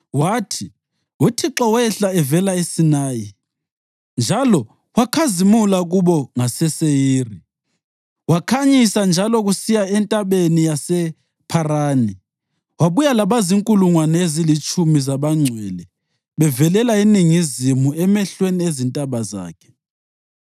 Wathi: “ UThixo wehla evela eSinayi njalo wakhazimula kubo ngaseSeyiri; wakhanyisa njalo kusiya eNtabeni yasePharani. Wabuya labazinkulungwane ezilitshumi zabangcwele bevelela eningizimu, emehlweni ezintaba zakhe.